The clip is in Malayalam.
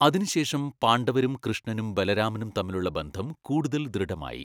അതിനുശേഷം പാണ്ഡവരും കൃഷ്ണനും ബലരാമനും തമ്മിലുള്ള ബന്ധം കൂടുതൽ ദൃഢമായി.